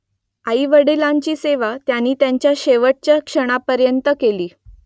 आई वडिलांची सेवा त्यांनी त्यांच्या शेवटच्या क्षणापर्यंत केली